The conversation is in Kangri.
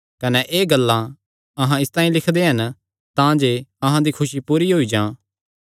कने एह़ गल्लां अहां इसतांई लिखदे हन तांजे अहां दी खुसी पूरी होई जां